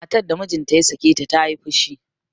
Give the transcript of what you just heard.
matar da mijinta ya sake ta ta yi fushi